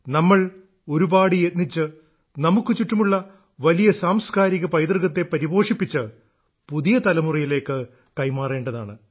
നമ്മൾ ഒരുപാട് യത്നിച്ച് നമുക്ക് ചുറ്റുമുള്ള വലിയ സാംസ്കാരിക പൈതൃകത്തെ പരിപോഷിപ്പിച്ച് പുതിയ തലമുറയിലേക്ക് കൈമാറേണ്ടതാണ്